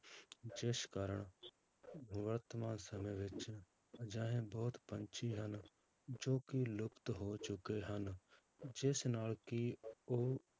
ਜਿਸ ਕਾਰਨ ਵਰਤਮਾਨ ਸਮੇਂ ਵਿੱਚ ਅਜਿਹੇ ਬਹੁਤ ਪੰਛੀ ਹਨ, ਜੋ ਕਿ ਲੁਪਤ ਹੋ ਚੁੱਕੇ ਹਨ, ਜਿਸ ਨਾਲ ਕਿ ਉਹ